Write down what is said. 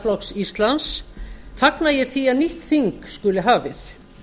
jafnaðarflokks íslands fagna ég því að nýtt þing skuli hafið